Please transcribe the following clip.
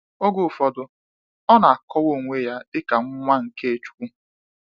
Oge ụfọdụ, ọ na akọwa onwe ya dịka nwa nke chukwu.